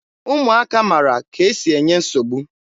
Ụmụaka mara ka e si enye nsogbu.